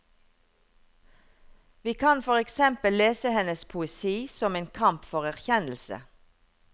Vi kan for eksempel lese hennes poesi som en kamp for erkjennelse.